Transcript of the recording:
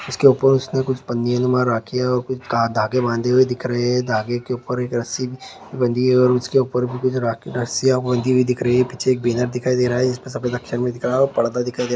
उसके ऊपर उसने कुछ पंक्तियां द्वारा किया और कुछ कहा धागे बंधे हुए दिख रहे हैं धागे के ऊपर एक रस्सी बांधी है और उसके ऊपर भी कुछ राखी रसिया बंधी हुई दिख रही है पीछे एक बैनर दिखाई दे रहा है इसमें सफेद अक्षर में दिखाई दे रहा है और पर्दा दिखाई दे रहा है।